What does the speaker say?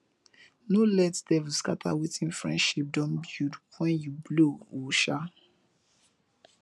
no let devil scatter wetin friendship don build wen you blow o um